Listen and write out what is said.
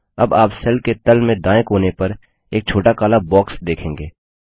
अब आप सेल के तल में दायें कोने पर एक छोटा काला बॉक्स देखेंगे